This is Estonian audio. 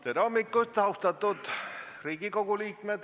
Tere hommikust, austatud Riigikogu liikmed!